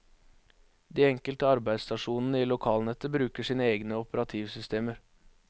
De enkelte arbeidsstasjonene i lokalnettet bruker sine egne operativsystemer.